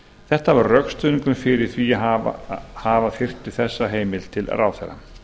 þetta var rökstuðningurinn fyrir því að þyrfti þessa heimild til ráðherra